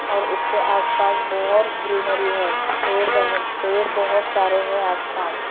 और उसके आसपास बहुत ग्रीनरी है पेड़ बने पेड़ बहुत सारे हैं आसपास --